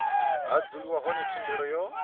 ha dzuliwa hone thendelo yo